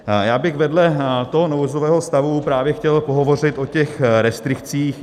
Já bych vedle toho nouzového stavu právě chtěl pohovořit o těch restrikcích.